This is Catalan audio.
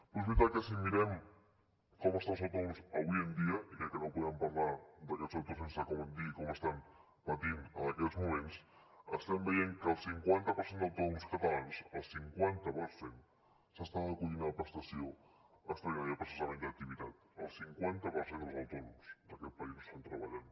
però és veritat que si mirem com estan els autònoms avui en dia i crec que no podem parlar d’aquest sector sense dir com estan patint en aquests moments estem veient que el cinquanta per cent d’autònoms catalans el cinquanta per cent s’està acollint a la prestació extraordinària per cessament d’activitat el cinquanta per cent dels autònoms d’aquest país no estan treballant